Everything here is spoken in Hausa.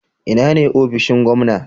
Ina ne ofishin gwamna?